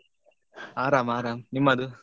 ಆ